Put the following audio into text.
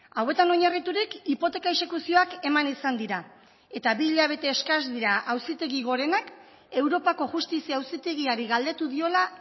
hauetan oinarriturik hipoteka exekuzioak eman izan dira eta bi hilabete eskas dira auzitegi gorenak europako justizia auzitegiari galdetu diola